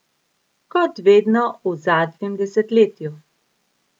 Kot vedno v zadnjem desetletju!